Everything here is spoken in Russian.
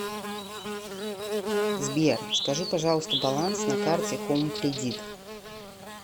сбер скажи пожалуйста баланс на карте хоум кредит